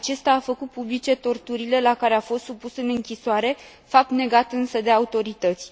Acesta a făcut publice torturile la care a fost supus în închisoare, fapt negat însă de autorități.